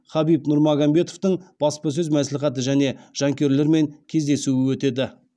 хабиб нурмагомедовтың баспасөз мәслихаты және жанкүйерлерімен кездесуі өтеді